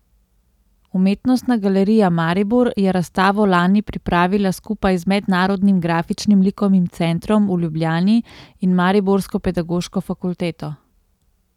Umetnostna galerija Maribor je razstavo lani pripravila skupaj z Mednarodnim grafičnim likovnim centrom v Ljubljani in mariborsko Pedagoško fakulteto.